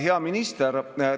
Hea minister!